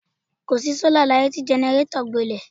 Kò sí sọ́là láyé tí jẹnẹrétọ̀ gbilẹ̀.